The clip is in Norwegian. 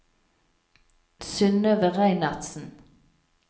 Synnøve Reinertsen